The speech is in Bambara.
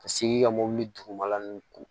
Ka seg'i ka mɔbili dugumala ninnu ko